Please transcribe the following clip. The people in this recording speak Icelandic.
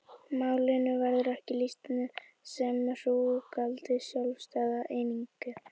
Málinu verður ekki lýst sem hrúgaldi sjálfstæðra eininga.